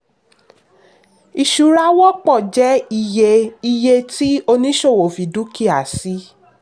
ìṣura wọ́pọ̀ jẹ́ iye iye tí oníṣòwò fi dúkìá sí.